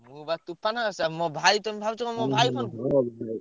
ମୁଁ ବା ତୋଫାନ ସେ ମୋ ଭାଇ ତମେ ଭାବୁଛ କଣ ମୋ ଭାଇ phone କରିଚି?